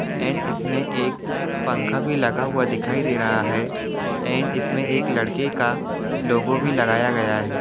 And इसमे एक पंखा भी लगा हुआ दिखाई दे रहा है एंड इसमे एक लड़के का लोगो भी लगाया गया है।